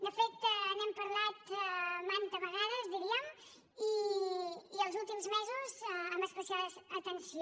de fet n’hem parlat mantes vegades diríem i els últims mesos amb especial atenció